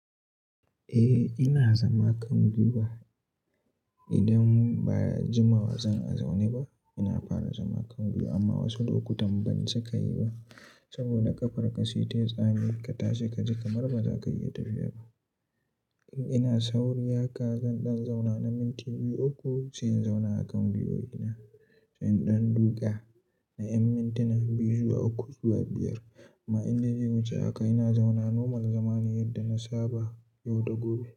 Eh ina zama kan gwiwa. Idan ba jimawa zan zaune ba ina fara zama kan gwiwa amma wasu lokutan ban cika yi ba saboda ƙafar ka si tayi tsami ka tashi kaji kamar ba za ka iya tafiya ba. Ina sauri haka zan ɗan zauna na minti biyu uku sai in zauna a kan gwiwowina ina sai in ɗan duka na ƴan mintuna biyu zuwa uku zuwa biyar. Amma in na je wuce haka ina zauna normal zamane yadda na saba, yau da gobe.